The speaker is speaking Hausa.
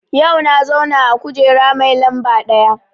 Yau na zauna a kujera mai lamba ɗaya